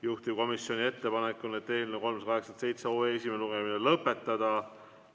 Juhtivkomisjoni ettepanek on eelnõu 387 esimene lugemine lõpetada.